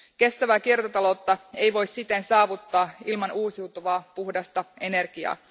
Kestävää kiertotaloutta ei voi siten saavuttaa ilman uusiutuvaa, puhdasta energiaa.